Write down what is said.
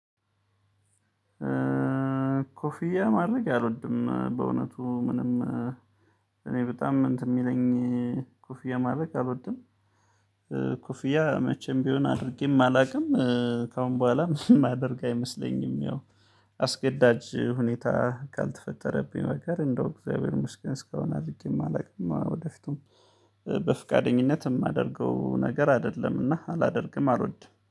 ኮፊያ ማድረግ አልወድም በእውነቱ ምንም እኔ በጣም እንትን የሚለኝ ኮፍያ ማድረግ አልወድም። ኮፍያ መቼም ቢሆን አድርጌም አላውቅም ከአሁን በኋላም ማደርግ አይመስለኝም። ያው አስገዳጅ ሁኔታ ካልተፈጠረብኝ በቀር እንደው እግዚአብሔር የመስገን እስካሁን አድርጌም አላውቅም። ወደፊቱም በፍቃደኝነት የማደርገው ነገር አይደለምና አላደርግም አልወድም